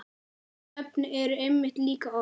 Nöfn eru einmitt líka orð.